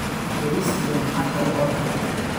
baris iyo maxaa kale oo dalbate